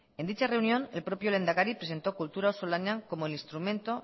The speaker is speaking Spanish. en dicha reunión el propio lehendakari presentó kultura auzolanean como el instrumento